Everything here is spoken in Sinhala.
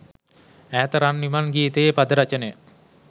ඈත රන් විමන් ගීතයේ පද රචනය